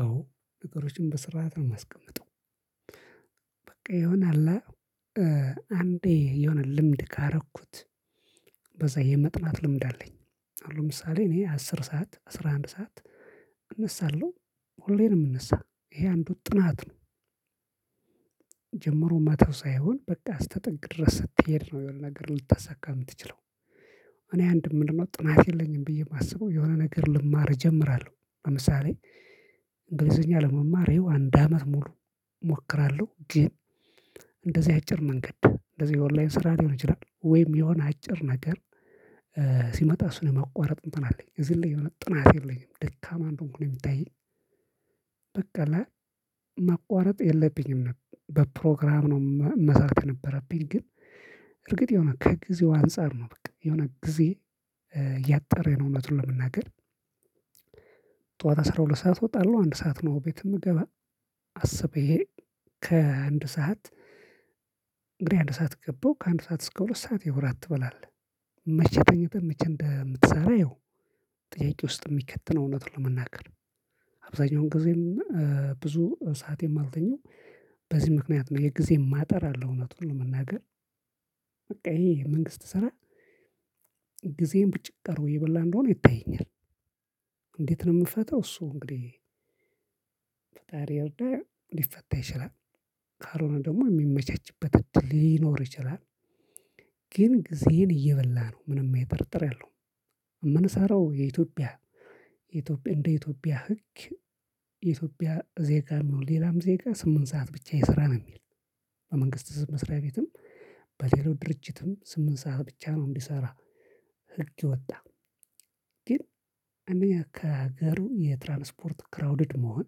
አዎ ነገሮችን በስርዓት ነው የማስቀምጠው። በቃ ይሆናል። አንዴ የሆነ ልምድ ካረኩት በዛ የመጥናት ልምድ አለኝ። አሁን ለምሳሌ እኔ አስር ሰዓት አስራ አንድ ሰዓት እነሳለሁ ሁሌም የምንነሳ ይሄ አንድ ጥናት ነው። መተው ሳይሆን በቃ አስተጠግ ድረስ ስትሄድ ነው የሆነ ነገር ልታሳካ የምትችለው። እኔ አንድ ምንድንነው ጥናት የለኝም ብዬ የማስበው የሆነ ነገር ልማር እጀምራለሁ። ለምሳሌ እንግሊዘኛ ለመማሬው አንድ አመት ሙሉ እሞክራለሁ። ግን እንደዚህ አጭር መንገድ እንደዚህ ኦንላይን ስራ ሊሆን ይችላል ወይም የሆነ አጭር ነገር። ሲመጣ እሱን የማቋረጥ እንትን አለኝ እዚህ ላይ የሆነ ጥናት የለኝም ደካማ እንደሆንኩ ነው የሚታየኝ። በቃ ለመቋረጥ የለብኝም በፕሮግራም ነው መስራት የነበረብኝ ግን እርግጥ የሆነ ከጊዜው አንፃር ነው በቃ የሆነ ጊዜ ያጠረ ነው እውነቱን ለመናገር። ጠዋት አስራ ሁለት ሰዓት እወጣለሁ አንድ ሰዓት ነው ቤት የምገባ አስቤ ከአንድ ሰዓት እንግዲህ አንድ ሰዓት ገባሁ ከአንድ ሰዓት እስከ ሁለት ሰዓት ያው እራት ትበላለህ። መቼ ተኝተህ መቼ እንደምትሰራ አየው? ጥያቄ ውስጥ የሚከትነው እውነት ለመናገር አብዛኛውን ጊዜም ብዙ ሰዓት የማልተኛው በዚህ ምክንያት ነው የጊዜን ማጠር አለው እውነቱን ለመናገር። በቃ ይሄ የመንግስት ስራ ጊዜን ብጭቅ አርጎ እየበላ እንደሆነ ይታየኛል። እንዴት ነው የምፈታው? እሱ እንግዲህ ፈጣሪ ይርዳ ሊፈታ ይችላል። ካልሆነ ደግሞ የሚመቻችበት እድል ሊኖር ይችላል። ግን ጊዜን እየበላ ነው ምንም አይጠራጠር የለውም። አምንሳራው የኢትዮጵያ ኢትዮጵያ እንደ ኢትዮጵያ ህግ ኢትዮጵያ ዜጋ የሚሆን ሌላም ዜጋ ስምንት ሰዓት ብቻ የሰራ ነው የሚል። በመንግስት መስሪያ ቤትም በሌላው ድርጅትም ስምንት ሰዓት ብቻ ነው እንዲሰራ። ህግ የወጣ። ግን እኔ ከሀገሩ የትራንስፖርት ክራውድድ መሆን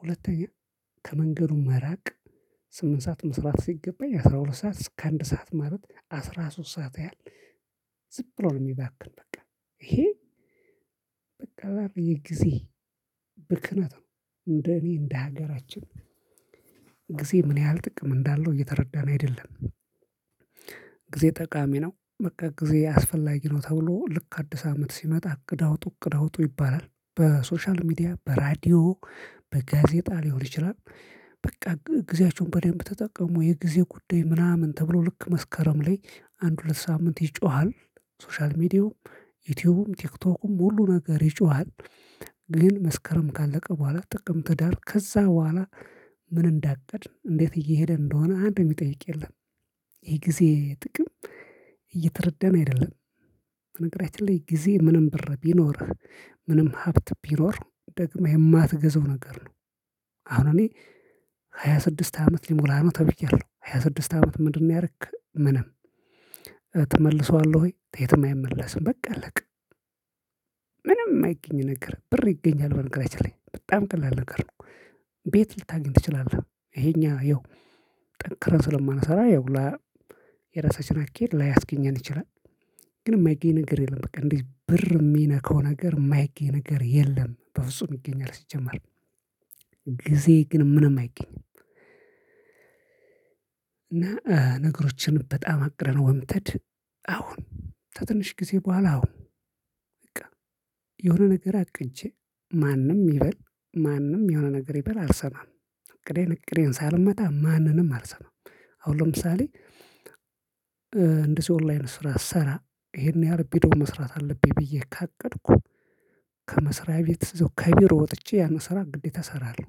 ሁለተኛ ከመንገዱ መራቅ ስምንት ሰዓት መስራት ሲገባኝ አስራ ሁለት ሰዓት እስከ አንድ ሰዓት ማለት አስራ ሶስት ሰዓት ያህል ዝብ ብሎ ነው። የሚባክን በቃ ይሄ በቃ በጊዜ ብክነት ነው። እንደ እኔ እንደ ሀገራችን ጊዜ ምን ያህል ጥቅም እንዳለው እየተረዳን አይደለም። ጊዜ ጠቃሚ ነው በቃ ጊዜ አስፈላጊ ነው ተብሎ ልክ አዲስ አመት ሲመጣ እቅድ አውጡ እቅድ አውጡ ይባላል። በሶሻል ሚዲያ በራዲዮ በጋዜጣ ሊሆን ይችላል። በቃ ጊዜያቸውን በደንብ ተጠቀሙ የጊዜ ጉዳይ ምናምን ተብሎ ልክ መስከረም ላይ አንድ ሁለት ሳምንት ይጮሃል። ሶሻል ሚዲያውም ዩቲዩብም ቲክቶኩም ሁሉ ነገር ይጮሃል። ግን መስከረም ካለቀ በኋላ ጥቅምት ህዳር ከዛ በኋላ ምን እንዳቀድን እንዴት እየሄደ እንደሆነ አንድ የሚጠይቅ የለም። ይሄ ጊዜ ጥቅም እየተረዳን አይደለም። በነገራችን ላይ ጊዜ ምንም ብር ቢኖርህ ምንም ሀብት ቢኖር ደግመህ የማትገዛው ነገር ነው። አሁን እኔ ሃያ ስድስት አመት ሊሞላ ነው ተብያለሁ ሃያ ስድስት አመት ምንድነው? ያረክ ምንም ትመልሰዋለህ ወይ ተየትም አይመለስም በቃ አለቀ። ምንም የማይገኝ ነገር ብር ይገኛል በነገራችን ላይ በጣም ቀላል ነገር ነው። ቤት ልታገኝ ትችላለህ። ይሄኛ ይኸው ጠንክረን ስለማንሰራ ይኸው ላ የራሳችን አካሄድ ላያስገኘን ይችላል። ግን የማይገኝ ነገር የለም በቃ እንደዚህ ብር የሚነካው ነገር የማይገኝ ነገር የለም። በፍጹም ይገኛል ሲጀመር። ጊዜ ግን ምንም አይገኝም። እና ነገሮችን በጣም አቅደህነው ምትድ አሁን ተትንሽ ጊዜ በኋላ አሁን በቃ የሆነ ነገር አቅጄ ማንም ይበል ማንም የሆነ ነገር ይበል አልሰማም። እቅዴን እቅዴን ሳልመታ ማንንም አልሰማም። አሁን ለምሳሌ እንደሰው ኦንላይን ስራ ስሰራ ይሄን ያህል ቢዶ መስራት አለብኝ ብዬ ካቀድኩ ከመስሪያ ቤት ከቢሮ ወጥቼ ያን ስራ ግዴታ እሰራለሁ።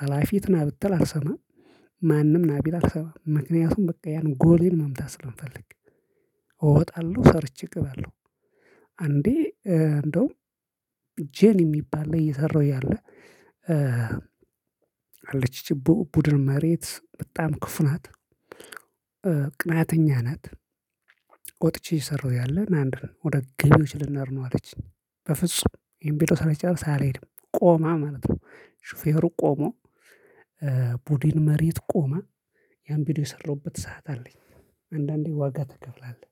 ሀላፊት ናብተል አልሰማም። ማንም ናቢል አልሰማም ምክንያቱም በቃ ያንን ጎሌን መምታት ስለምፈልግ። እወጣለሁ ሰርቼ እገባለሁ። አንዴ እንደውም ጄን የሚባል ላይ እየሰራሁ ያለ አለች ኢቺ ቡድን መሪት በጣም ክፍ ናት። ቅናተኛ ናት። ወጥቼ ሰረው እያለ ናተ ወደ ገቢዎች ልንሄድ ነው አለችኝ። በፍጹም ይሄንቢዶ ሳልጨርስ አልሄድም ቆማ ማለት ነው። ሹፌሩ ቆሞ ቡድን መሪት ቆማ ያን ቪዲዮ የሰራበት ሰዓት አለኝ አንዳንዴ ዋጋ ትከፍላለህ።